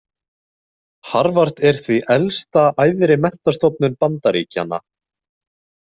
Harvard er því elsta æðri menntastofnun Bandaríkjanna.